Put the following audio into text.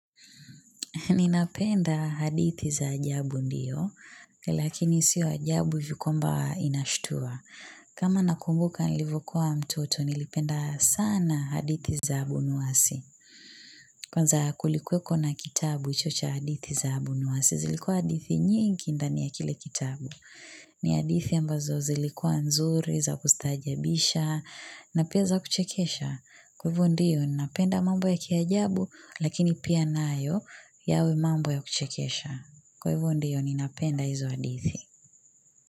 Ninapenda hadithi za ajabu ndiyo, lakini sio ajabu hivi kwamba inashtua. Kama nakumbuka nilivokuwa mtoto, nilipenda sana hadithi za abunwasi. Kwanza kulikweko na kitabu hicho cha hadithi za abunwasi, zilikuwa hadithi nyingi ndani ya kile kitabu. Ni hadithi ambazo zilikuwa nzuri, za kustaajabisha, na pia za kuchekesha. Kwa ivo ndio, ninapenda mambo ya kiajabu, lakini pia nayo yawe mambo ya kuchekesha. Kwa ivo ndiyo, ninapenda izo hadithi.